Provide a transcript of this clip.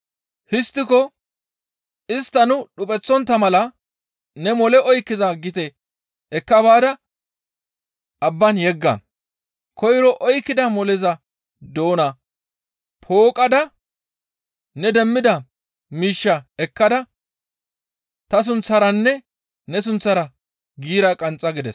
Histtikokka istta nu dhupheththontta mala ne mole oykkiza gite ekka baada abban yegga; koyro oykkida moleza doona pooqqada ne demmida miishshaa ekkada ta sunththaranne ne sunththara giira qanxxa» gides.